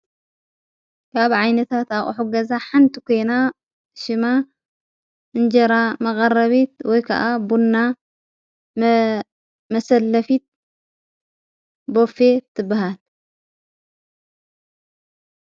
ካብ ዓይነታ ታቐሕጐዛ ሓንቲ ጐይና ሽማ እንጀራ መቓረቢት ወይ ከዓ ቦና መሰለፊት በፌ ትበሃት።